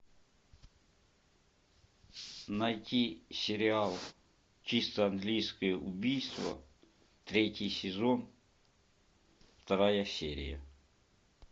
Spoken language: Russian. найти сериал чисто английское убийство третий сезон вторая серия